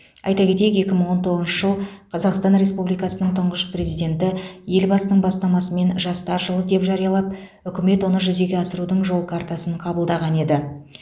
айта кетейік екі мың он тоғызыншы жыл қазақстан республикасының тұңғыш президенті елбасының бастамасымен жастар жылы деп жариялап үкімет оны жүзеге асырудың жол картасын қабылдаған еді